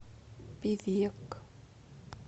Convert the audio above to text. певек